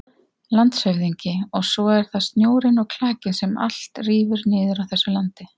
LANDSHÖFÐINGI: Og svo er það snjórinn og klakinn sem allt rífur niður á þessu landi.